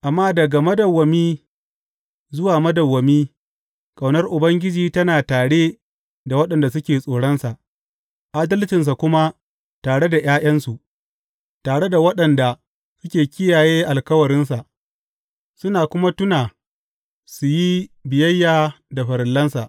Amma daga madawwami zuwa madawwami ƙaunar Ubangiji tana tare da waɗanda suke tsoronsa, adalcinsa kuma tare da ’ya’yansu, tare da waɗanda suke kiyaye alkawarinsa suna kuma tuna su yi biyayya da farillansa.